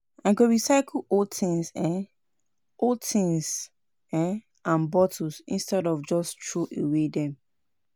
I go recycle old tins um old tins um and bottles instead of just troway dem.